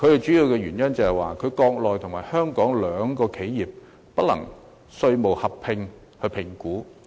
主要的問題是，在國內與香港開設的企業不能合併評稅。